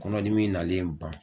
Kɔnɔdimi nalen ban